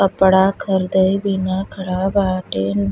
कपड़ा ख़रीदेल बिना खड़ा बाटे।